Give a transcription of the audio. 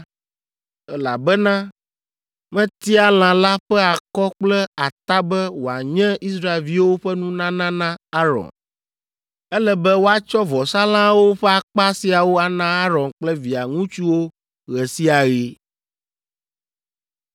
elabena metia lã la ƒe akɔ kple ata be woanye Israelviwo ƒe nunana na Aron. Ele be woatsɔ vɔsalãwo ƒe akpa siawo ana Aron kple via ŋutsuwo ɣe sia ɣi.”